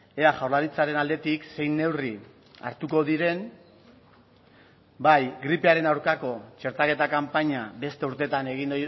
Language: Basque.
ea jaurlaritzaren aldetik zein neurri hartuko diren bai gripearen aurkako txertaketa kanpaina beste urtetan egin